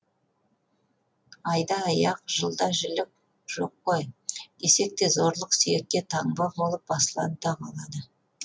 айда аяқ жылда жілік жоқ қой десек те зорлық сүйекке таңба болып басылады да қалады